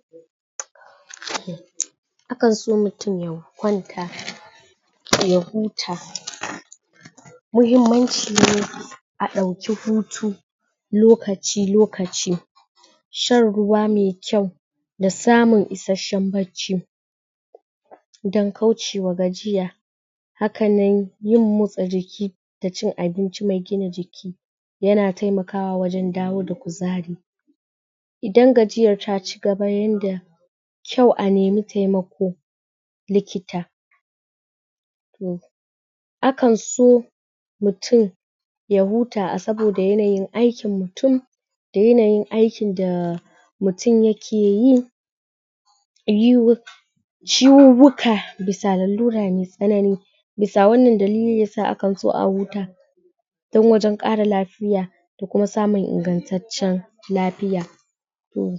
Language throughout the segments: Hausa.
uhm akan so mutum kwanta ya huta muhimmanci ne a ɗauki hutu lokaci lokaci shan ruwa mai kyau da samun isasshen bacci dan kaucewa gajiya hakanan yin motsa jiki da cin abinci mai gina jiki yana taimakawa wajen dawo da kuzari idan gajiyar ta cigaba ta yanda kyau a nemi taimako likita hmm akanso mutum ya huta a saboda yanayin aikin mutum da yanayin aikin da mutum yake yi iyiwu ciwuwuka bisa lalura mai tsanani bisa wannan dalilin yasa akan so a huta on wajen ƙara lafiya da kuma samun ingantaccen lafiya hmm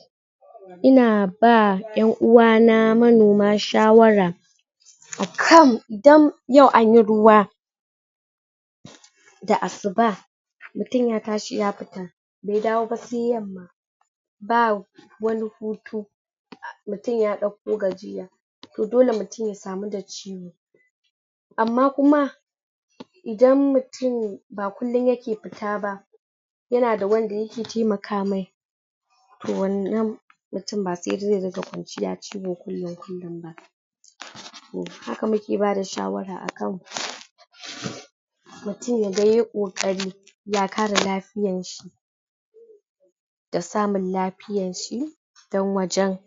ina ba yan'uwa na manoma shawara akan dan yau anyi ruwa da asuba mutum ya tashi ya fita bai dawo ba sai yamma ba wani hutu mutum ya ɗauko gajiya to dole mutum ya kamu da ciwo amma kuma idan mutum ba kullum yake fita ba yana da wanda yake taimaka mai to wannan mutum ba sai dai ya rinƙa kwanciya ciwo kullum kullum ba haka muke bada shawara akan?? mutum yaga yay kokari ya kare lafiyar shi da samun lafiyar shi dan wajen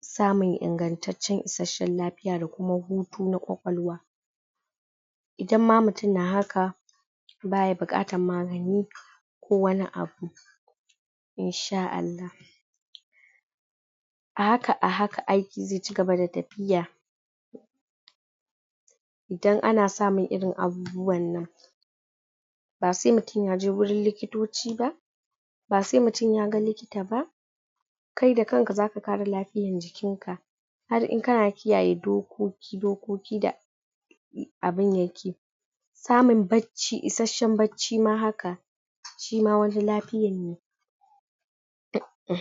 samun ingantaccen isasshen lafiya da kuma hutu na kwakwalwa idan ma mutum na haka baya buƙatar magani ko wani abu insha Allah a haka ahaka aiki zai cigaba da tafiya idan ana samun irin abubuwan nan ba sai mutum yaje wurin likitoci ba ba sai mutum yaga likita ba kai da kanka zaka kare lafiyar jikin ka har in kana kiyaye dokoki dokokin da abin yake amun bacci isashen bacci ma haka shima wani lafiyan ne uhm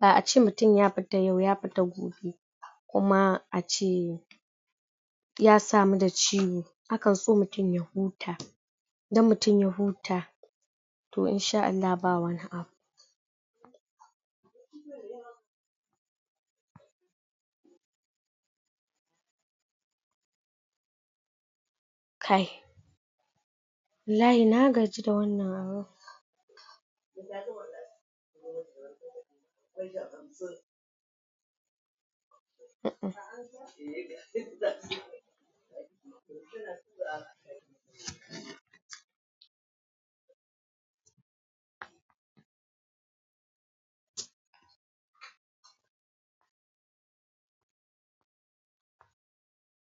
da ace mutum ya fita yau ya fita gobe kuma ace ya samu da ciwo akan so mutum ya huta idan mutum ya huta toh insha Allah babu wani abu kai wallahi na gaji da wannan raho?